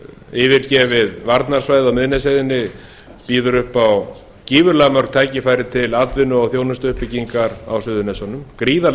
yfirgefið varnarsvæðið á miðnesheiðinni býður upp á gífurlega mörg tækifæri til atvinnu og þjónustuuppbyggingar á suðurnesjunum gríðarleg